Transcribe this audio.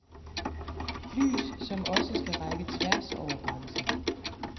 Lys, som også skal række tværs over grænsen.